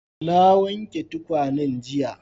Na wanke tukwanen jiya.